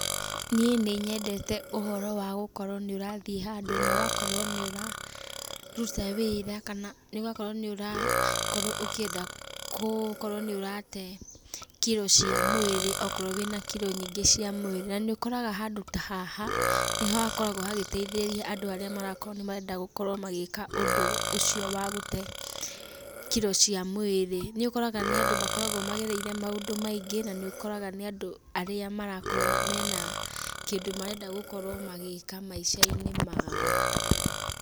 Niĩ nĩ nyendete ũhoro wa gũkorwo nĩũrathiĩ handũ na ũgakorwo nĩ ũra ruta wĩra, kana ũgakorwo nĩũra korwo ũkĩenda kũ korwo nĩũrate kiro cia mwĩrĩ, okorwo wĩna kiro nyingĩ cia mwĩrĩ, na nĩũkoraga handũ ta haha, nĩho hakoragwo hagĩteithĩrĩria andũ arĩa marakorwo nĩmarenda gũkorwo magĩka ũndũ ũcio wa gũte kiro cia mwĩrĩ. Nĩũkoraga nĩ andũ makoragwo magereire maũndũ maingĩ, na nĩũkoraga nĩ andũ arĩa marakorwo mena kindũ marenda gũkorwo magĩka maicainĩ mao.